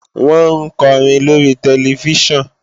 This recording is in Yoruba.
Wọ́n ń kọrin lóri tẹlifíṣàn